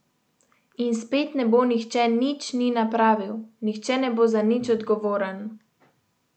In spet ne bo nihče nič ni napravil, nihče ne bo za nič odgovoren.